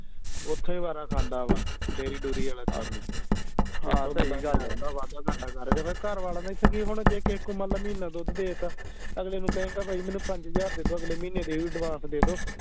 ਓਥੇ ਹੀ ਖਾਂਦਾ ਵਾ ਡੇਅਰੀ ਡੂਰੀ ਆਲਾ ਕੰਮ ਹੀ ਵਾਧਾ ਘਾਟਾ ਕਰਦੇ ਫੇਰ ਘਰਵਾਲਿਆਂ ਦਾ ਇਥੇ ਕਿ ਹੋਣਾ ਜੇ ਕੋਈ ਮੰਨ ਲਾ ਮਹੀਨਾ ਦੁੱਧ ਦੇ ਤਾ ਅਗਲੇ ਨੂੰ ਕਹੇਂਗਾ ਬਈ ਮੈਨੂੰ ਪੰਜ ਹਜਾਰ ਦੇ ਦੋ ਅਗਲੇ ਮਹੀਨੇ ਦੇ ਵੀ ਦੇ ਦੋ